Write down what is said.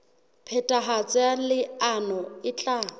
phethahatso ya leano e tla